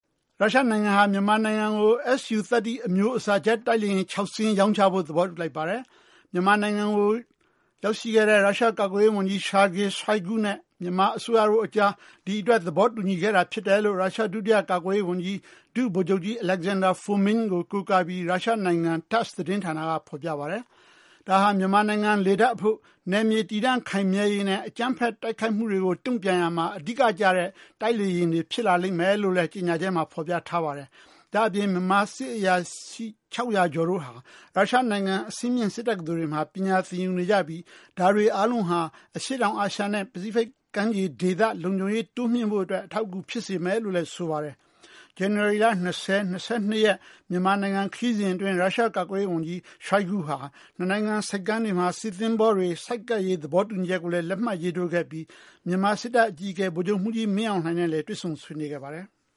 ရုရှားနိုင်ငံဟာ မြန်မာနိုင်ငံကို Su-30 အမျိုးအစား ဂျက်တိုက်လေယာဉ် ၆ စင်းရောင်းချဖို့ သဘောတူလိုက်ပါတယ်။ မြန်မာနိုင်ငံကို ရောက်နေတဲ့ ရုရှားကာကွယ်ရေးဝန်ကြီး Sergey Shoigu နဲ့ မြန်မာအစိုးရတို့အကြား ဒီအတွက် သဘောတူညီခဲ့တာဖြစ်တယ်လို့ ရုရှား ဒုတိယကာကွယ်ရေးဝန်ကြီး၊ ဒု-ဗိုလ်ချုပ်ကြီး Alexander Fomin ကို ကိုးကားပြီး ရုရှားနိုင်ငံ TASS သတင်းဌာနက ဖော်ပြပါတယ်။ ဒါဟာ မြန်မာနိုင်ငံလေတပ်အဖို့ နယ်မြေတည်တံ့ခိုင်မြဲရေးနဲ့ အကြမ်းဖက်တိုက်ခိုက်မှုတွေကို တုံ့ပြန်ရာမှာ အဓိကကျတဲ့ တိုက်လေယာဉ်တွေ ဖြစ်ပါလိမ့်မယ်လို့လည်း ကြေညာချက်မှာ ဖော်ပြထားပါတယ်။ ဒါ့အပြင် မြန်မာစစ်အရာရှိ ၆၀၀ ကျော်တို့ဟာ ရုရှားနိုင်ငံ အဆင့်မြင့် စစ်တက္ကသိုလ်တွေမှာ ပညာသင်ယူနေကြပြီး ဒါတွေအားလုံးဟာ အရှေ့တောင်အာရှနဲ့ ပစိတ်ဖိတ်ကမ်းခြေဒေသ လုံခြုံရေးတိုးမြှင့်ဖို့အတွက် အထောက်အကူဖြစ်စေမယ်လို့ ဆိုပါတယ်။ ဇန်နဝါရီလ ၂၀-၂၂ ရက် မြန်မာခရီးစဉ်အတွင်း ရုရှား ကာကွယ်ရေးဝန်ကြီး Shoigu ဟာ နှစ်နိုင်ငံ ဆိပ်ကမ်းတွေမှာ စစ်သင်္ဘောတွေ ဆိုက်ကပ်ရေးသဘောတူညီချက်ကိုလည်း လက်မှတ်ရေးထိုး ခဲ့ပြီး မြန်မာစစ်တပ်အကြီးအကဲ ဗိုလ်ချုပ်မှူးကြီး မင်းအောင်လှိုင်တို့နဲ့ တွေ့ဆုံဆွေးနွေးခဲ့ပါတယ်။